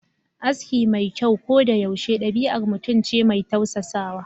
Aski mai kyau ko da yaushe dabi'ar mutum ce mai tausasawa